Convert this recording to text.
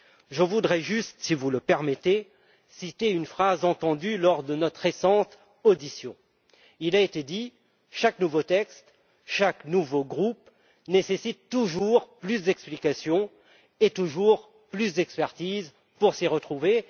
Je voudrais juste, si vous le permettez, citer une phrase entendue lors de notre récente audition. Il a été dit qu'il faut, pour chaque nouveau texte, chaque nouveau groupe, toujours plus d'explications et toujours plus d'expertise pour s'y retrouver.